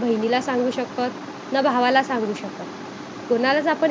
पाहिजे असे तर आपल्याला भावार्थिक ध्यान किंवा